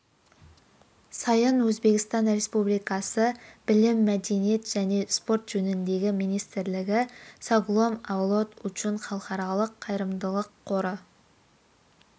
сайын өзбекстан республикасы білім мәдение және спорт жөніндегі министрлігі соглом авлод учун халықаралық қайырымдылық қоры